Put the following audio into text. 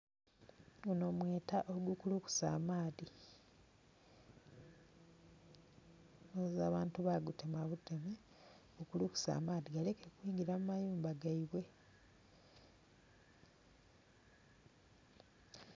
Guno mweta ogukulukusa amaadhi nga abantu bagutema buteme gu kulukuse amaadhi galeme kwingira mu mayumba geibwe.